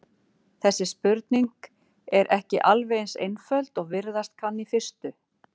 Þessi spurning er ekki alveg eins einföld og virðast kann í fyrstu.